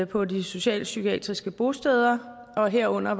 på de socialpsykiatriske bosteder herunder